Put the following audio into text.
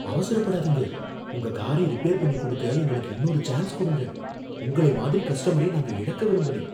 அவசரப்படாதீங்க, உங்க காரை ரிப்பேர் பண்ணி குடுக்க எங்களுக்கு இன்னொரு சான்ஸ் குடுங்க, உங்களை மாதிரி கஸ்டமரை நாங்க இழக்க விரும்பலை.